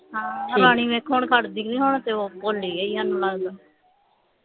ਹਾਂ ਰਾਣੀ ਵੇਖੋ ਹੁਣ ਖੜਦੀ ਨਹੀਂ ਹੁਣ ਤੇ ਉਹ ਮੈਨੂੰ ਲਗਦਾ